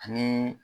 Ani